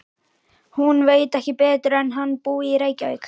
Hún veit ekki betur en hann búi í Reykjavík.